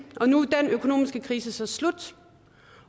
og nu er den økonomiske krise så slut